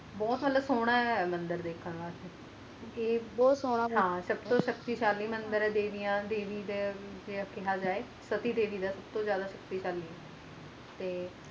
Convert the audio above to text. ਬੋਹਤ ਮਤਲਬ ਸੋਹਣਾ ਹੈ ਮੰਦਿਰ ਦੇਖਣ ਦੇ ਵਾਸਤੇ। ਜੀ ਬੋਹਤ ਸੋਹਣਾ ਸਬ ਤੋਂ ਸ਼ਕਤੀਸ਼ਾਲੀ ਮੰਦਿਰ ਦੇਵੀ ਦਾ ਸਤੀ ਦੇਵੀ ਸ ਸਬ ਤੋਂ ਜਾਂਦਾ ਸ਼ਖਤਿਸ਼ਾਲੀ ਹੈ